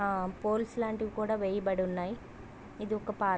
ఆ పోల్స్ లాటివి కూడా వేయబడి ఉన్నాయి ఇది ఒక పార్క్ .